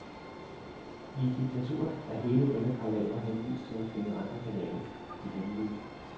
I et diktatur er hele denne palaver henvist til at finde andre kanaler, de hemmelige.